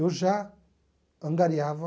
eu já angariava